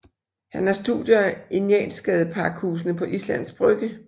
Han har studier i Njalsgadepakhusene på Islands Brygge